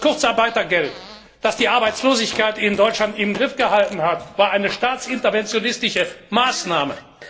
Das Kurzarbeitergeld, das die Arbeitslosigkeit in Deutschland im Griff gehalten hat, war eine staatsinterventionistische Maßnahme.